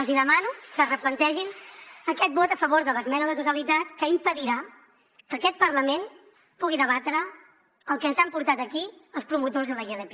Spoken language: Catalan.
els hi demano que es replantegin aquest vot a favor de l’esmena a la totalitat que impedirà que aquest parlament pugui debatre el que ens han portat aquí els promotors de la ilp